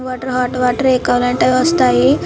Water hot water ఎవి కావాలంటే అవి వస్తాయి.